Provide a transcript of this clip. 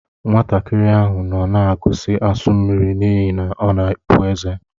Nwatakịrị ahụ nọ na-agọzi asu mmiri n'ihi na ọ na-epụ ezé.